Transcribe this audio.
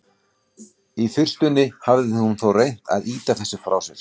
Í fyrstunni hafði hún þó reynt að ýta þessu frá sér.